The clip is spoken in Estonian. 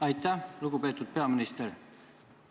Aitäh, lugupeetud peaminister!